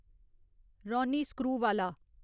Ronnie Screwvala